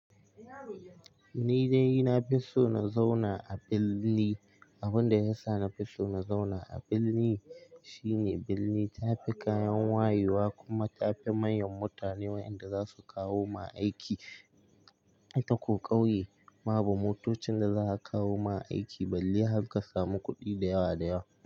Ni dai na fi so na zauna a birni. Abin da ya sa na fi so na zauna a birni shine birni tafi kayan wayewa kuma tafi manyan mutane wa'yanda za su kawo ma aiki. I takoƙauye babu motocin da za a kawo ma aiki balle harka samu kuɗi da yawa da yawa.